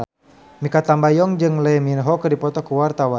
Mikha Tambayong jeung Lee Min Ho keur dipoto ku wartawan